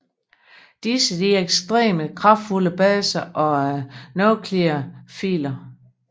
Disse er ekstremt kraftfulde baser og nukleofiler